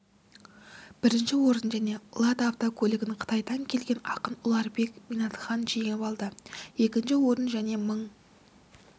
бірінші орын және лада автокөлігін қытайдан келген ақын ұларбек минатхан жеңіп алды екінші орын және мың